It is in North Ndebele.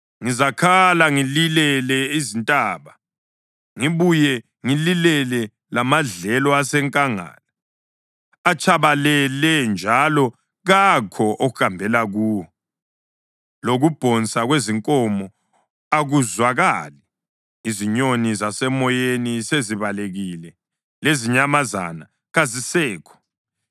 Ngizakhala ngililele izintaba ngibuye ngililele lamadlelo asenkangala. Atshabalele njalo kakho ohambela kuwo, lokubhonsa kwezinkomo akuzwakali. Izinyoni zasemoyeni sezibalekile, lezinyamazana kazisekho.